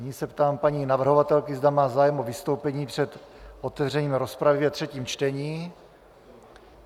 Nyní se ptám paní navrhovatelky, zda má zájem o vystoupení před otevřením rozpravy ve třetím čtení.